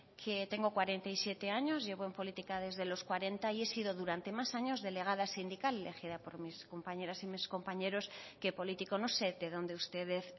que tengo cuarenta y siete años llevo en política desde los cuarenta y he sido durante más años delegada sindical elegida por mis compañeras y mis compañeros que político no sé de dónde ustedes